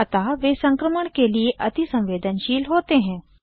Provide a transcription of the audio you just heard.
अतः वे संक्रमण के लिए अतिसंवेदनशील होते हैं